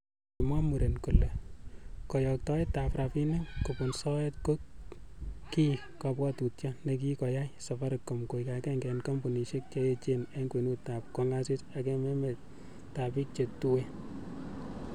Kimwa muren kole koyoktoetab rabinik kubun soet, ko ki kobwotutio nekikoyai Safaricom koik agenge en kompunisiek che echen en kwenut ak kongasis en emetab bik che tuen.